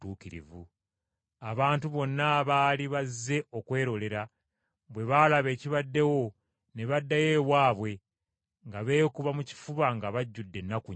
Abantu bonna abaali bazze okwerolera, bwe baalaba ebibaddewo ne baddayo ewaabwe nga beekuba mu kifuba nga bajjudde ennaku nnyingi.